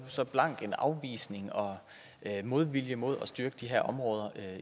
så blank en afvisning og modvilje mod at styrke de her områder